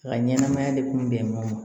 A ka ɲɛnɛmaya de kun bɛnn'o ma